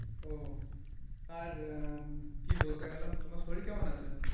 ওহ, আর কি বলতে গেলাম তোমার শরীর কেমন আছে?